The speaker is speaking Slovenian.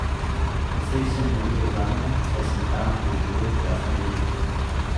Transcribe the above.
Precej sem navijal zanjo, saj sem tam doživel krasna leta.